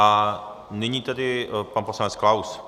A nyní tedy pan poslanec Klaus.